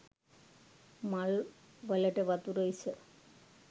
මල්වලට වතුර ඉස